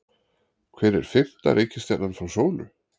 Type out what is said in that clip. Hver er fimmta reikistjarnan frá sólu?